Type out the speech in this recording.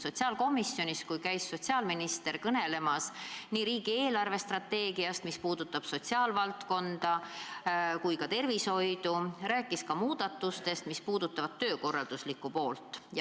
Täna käis sotsiaalminister sotsiaalkomisjonis kõnelemas riigi eelarvestrateegiast, mis puudutab nii sotsiaalvaldkonda kui ka tervishoidu, ja ta rääkis ka muudatustest, mis puudutavad töökorraldust.